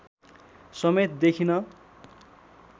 समेत देखिन